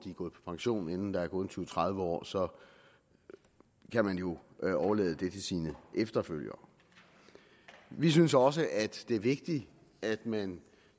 er gået på pension inden der er gået tyve til tredive år så kan man jo overlade det til sine efterfølgere vi synes også at det er vigtigt at man